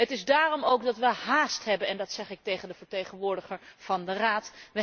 Het is daarom ook dat we háást hebben en dat zeg ik tegen de vertegenwoordiger van de Raad.